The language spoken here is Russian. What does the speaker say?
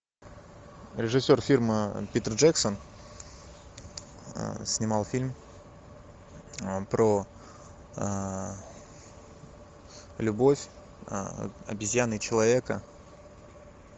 режиссер фильма питер джексон снимал фильм про любовь обезьяны и человека